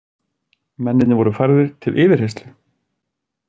Mennirnir voru færðir til yfirheyrslu